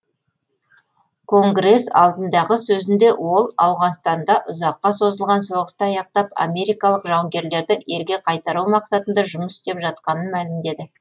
конгресс алдындағы сөзінде ол ауғанстанда ұзаққа созылған соғысты аяқтап америкалық жауынгерлерді елге қайтару мақсатында жұмыс істеп жатқанын мәлімдеді